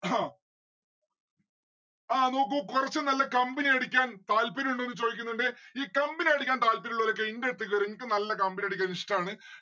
ഹ ആ നോക്കു കൊറച്ച് നല്ല company അടിക്കാൻ താല്പര്യമുണ്ടോ ചോദിക്കുന്നുണ്ട് ഈ company അടിക്കാൻ താല്പര്യമുള്ളോരൊക്കെ ഇന്റെ അടുത്ത് കേർ എനിക്ക് നല്ല company അടിക്കാൻ ഇഷ്ടാണ്.